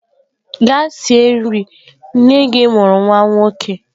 Gaa sie nri! nne-gi amuru nwa-nwoke.